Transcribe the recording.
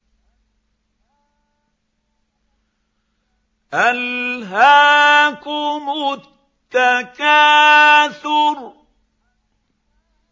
أَلْهَاكُمُ التَّكَاثُرُ